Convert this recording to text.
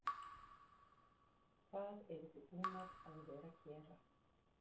Breki Logason: Hvað eruð þið búnar að vera að gera?